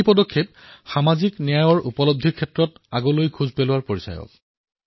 এই পদক্ষেপ সামাজিক ন্যায়ৰ উদ্দেশ্যক আগবঢ়াই লৈ যোৱাত উপযুক্ত বিবেচিত হব